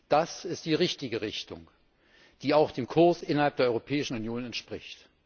Das ist die richtige Richtung, die auch dem Kurs innerhalb der Europäischen Union entspricht.